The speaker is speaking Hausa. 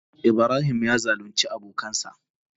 Ibrahim ya zalunce abokansa.